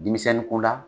Denmisɛnnin ko la